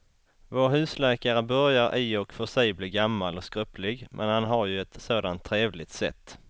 Vår husläkare börjar i och för sig bli gammal och skröplig, men han har ju ett sådant trevligt sätt!